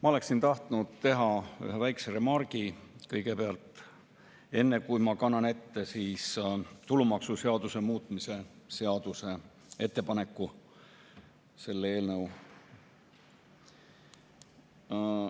Ma oleksin tahtnud teha ühe väikese remargi kõigepealt, enne kui ma kannan ette tulumaksuseaduse muutmise seaduse eelnõu ettepaneku.